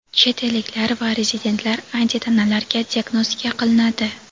chet elliklar va rezidentlar antitanalarga diagnostika qilinadi;.